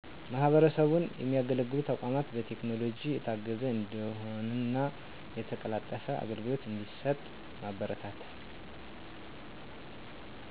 ማህበረሰቡን የሚያገለግሉ ተቋማት በቴክኖሎጂ የታገዘ እንዲሆንና የተቀላጠፈ አገልግሎ እዲሠጥ ማበረታታት